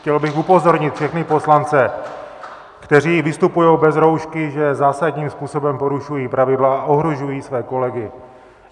Chtěl bych upozornit všechny poslance, kteří vystupují bez roušky, že zásadním způsobem porušují pravidla a ohrožují své kolegy.